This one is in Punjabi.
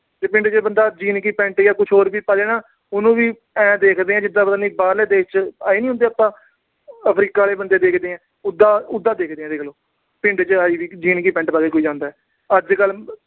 ਜੇ ਪਿੰਡ ਚ ਬੰਦਾ jean ਦੀ pant ਜਾਂ ਹੋਰ ਕੁਛ ਵੀ ਪਾਜੇ ਨਾ, ਉਹਨੂੰ ਏ ਦੇਖਦੇ ਆ ਜਿਵੇਂ ਬਾਹਰਲੇ ਦੇਸ਼ ਚ ਆਏ ਨੀ ਹੁੰਦੇ ਆਪਾ। Africa ਦੇ ਬੰਦੇ ਦੇਖਦੇ ਆ, ਉਦਾ ਅਹ ਉਦਾ ਦੇਖਦੇ ਆ, ਮਤਲਬ ਦੇਖ ਲੋ। ਪਿੰਡ ਚ ਕੋਈ jean ਦੀ pant ਪਾ ਕੇ ਜਾਂਦਾ। ਅੱਜ-ਕੱਲ੍ਹ